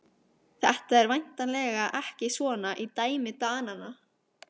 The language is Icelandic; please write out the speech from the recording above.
Þetta er væntanlega ekki svona í dæmi Dananna?